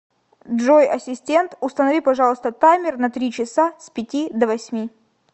джой ассистент установи пожалуйста таймер на три часа с пяти до восьми